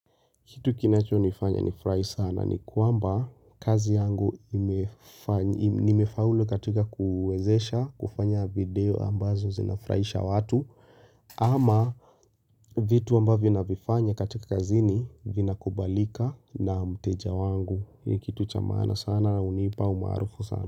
Kitu kinachonifanya ni furahi sana ni kwamba kazi yangu imefaulu katika kuwezesha kufanya bidii ambazo zinafurahisha watu ama vitu ambavyo navifanya katika kazini vinakubalika na mteja wangu ni kitu cha maana sana hunipa umaarufu sana.